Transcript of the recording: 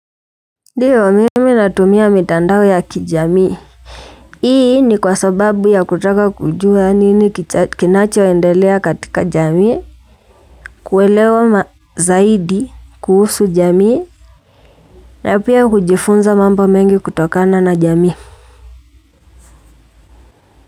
Ndiyo mimi natumia mitandao ya kijamii. Hii ni kwa sababu ya kutaka kujua nini kinachoendelea katika jamii. Kuelewa zaidi, kuhusu jamii. Na pia hujifunza mambo mengi kutokana na jamii.